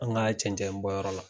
Anw ka cɛncɛn bɔ yɔrɔ la.